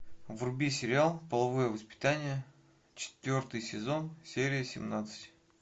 вруби сериал половое воспитание четвертый сезон серия семнадцать